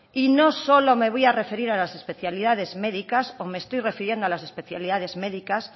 y no solo me voy a referir a las especialidades médicas o me estoy refiriendo a las especialidades médicas